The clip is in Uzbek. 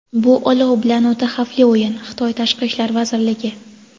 bu olov bilan o‘ta xavfli o‘yin – Xitoy Tashqi ishlar vazirligi.